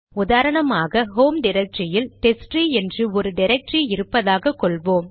உதாரணமாக ஹோம் டிரக்டரியில் டெஸ்ட்ட்ரீ என்று ஒரு டிரக்டரி இருப்பதாக கொள்வோம்